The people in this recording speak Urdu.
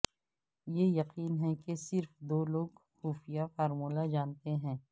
یہ یقین ہے کہ صرف دو لوگ خفیہ فارمولہ جانتے ہیں